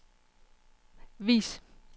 vis